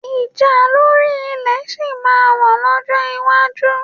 Ìjà lórí ilẹ̀ sì máa wà lọ́jọ́ iwájú